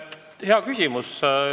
Hea küsimus.